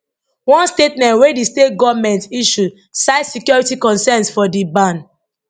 one statement wey di state goment issue cite security concerns for di ban